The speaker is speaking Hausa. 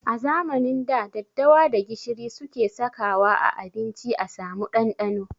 A zamanin da, daddawa da gishiri suke saka wa a abinci a samu ɗanɗano.